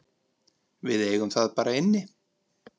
Við eigum það bara inni.